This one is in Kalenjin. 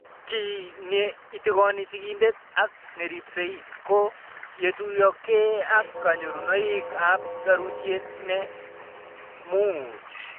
Kiy ne itikoni sigindet ak neripsei ko yetuyokei ak kanyorunoik ab serutiet ne nuach